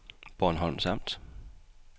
Bornholms Amt